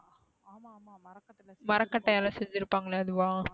மரகட்டையால செஞ்சுருபாங்கலே அதுவா,